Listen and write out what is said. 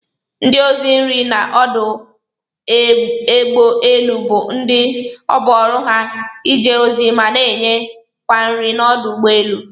Ndi ọzi nri n'ọdụ egbọ elụ bu ndi ọbụ oru ha ije ozi mana nye kwa nri n'ọdụ ụgbọ elu.